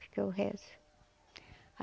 Porque eu rezo.